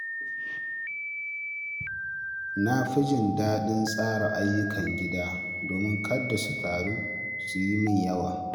Na fi jin daɗin tsara ayyukan gida domin kada su taru su yi min yawa.